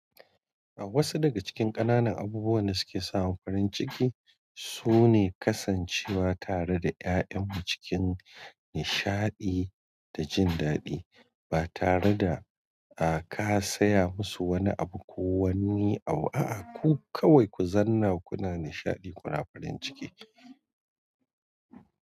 A wasu daga cikin ƙananan abubuwan da suke samun farin ciki sune kasancewa tare da ƴaƴanmu cikin nishaɗi da jin daɗi ba tare da ka saya musu wani abu ko wani abu a'a ku kawai ku zanna kuna nishaɗi kuna farin ciki.